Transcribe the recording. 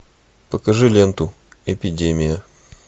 покажи ленту эпидемия